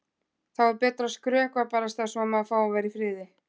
Þá er betra að skrökva barasta svo að maður fái að vera í friði.